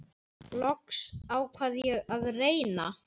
Loks ákvað ég að reyna.